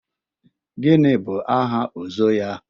Gịnị bụ aha Ozo ya?